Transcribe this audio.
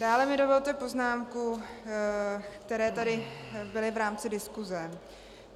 Dále mi dovolte poznámky, které tady byly v rámci diskuse.